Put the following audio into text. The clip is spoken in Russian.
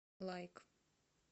лайк